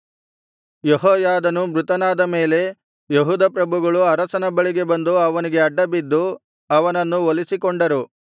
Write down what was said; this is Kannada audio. ಯೆಹೋಯಾದನು ಮೃತನಾದ ಮೇಲೆ ಯೆಹೂದ ಪ್ರಭುಗಳು ಅರಸನ ಬಳಿಗೆ ಬಂದು ಅವನಿಗೆ ಅಡ್ಡಬಿದ್ದು ಅವನನ್ನು ಒಲಿಸಿಕೊಂಡರು